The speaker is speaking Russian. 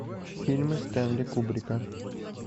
фильмы стэнли кубрика